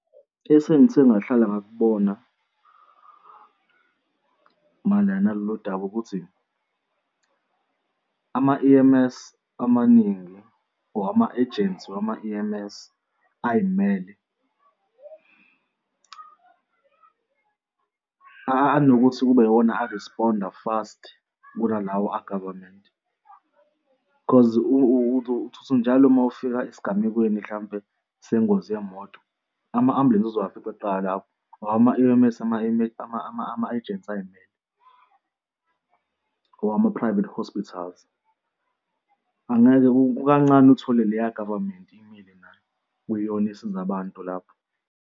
Esengithe ngahlala ngakubona mayelana nalolu daba ukuthi ama-E_M_S amaningi or ama-ejensi wama-E_M_S ay'mele anokuthi kube iwona a-respond-a fast kunalawo a-government. Cause njalo uma ufika esigamekweni mhlampe sengozi yemoto, ama-ambulensi uzofika kuqala lapho, ngoba ama-E_M_S ama-ejensi ay'mele or ama-private hospitals. Angeke kukancane uthole le ya-government imile nayo kuyiyona esiza abantu lapho.